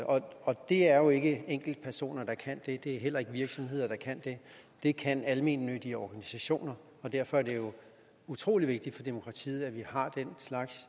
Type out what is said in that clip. og det er jo ikke enkeltpersoner der kan det og det er heller ikke virksomheder der kan det det kan almennyttige organisationer og derfor er det jo utrolig vigtigt for demokratiet at vi har den slags